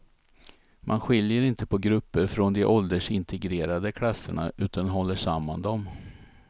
Man skiljer inte på grupper från de åldersintegrerade klasserna, utan håller samman dem.